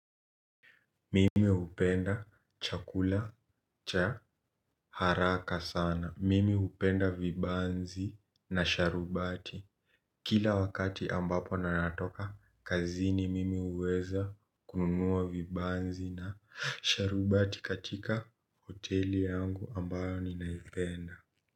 Mimi upenda chakula cha haraka sana. Mimi upenda vibanzi na sharubati. Kila wakati ambapo ninatoka, kazini mimi uweza kununua vibanzi na sharubati katika hoteli yangu ambayo ninaifenda.